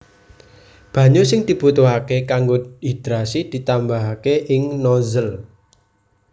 Banyu sing dibutuhaké kanggo hidrasi ditambahaké ing nozzle